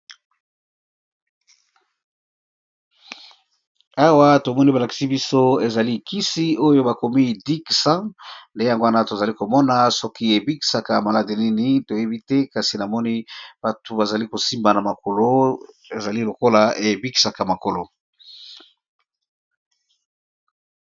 Awa tomoni ba lakisi biso ezali kisi oyo bakomi dic-100 nde yango wana tozali komona soki ebikisaka maladi nini toyebi te kasi namoni batu bazali ko simba na makolo ezali lokola ebikisaka makolo.